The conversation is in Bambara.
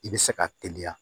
I bɛ se ka teliya